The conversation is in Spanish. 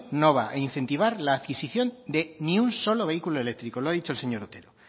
no va a incentivar la adquisición de ni un solo vehículo eléctrico lo ha dicho el señor otero